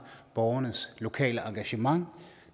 borgernes lokale engagement